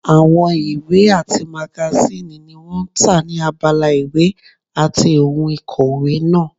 Àwọn ìwé àti magasíìnì ni wọ́n tà ní abala ìwé àti ohun ìkòwé náà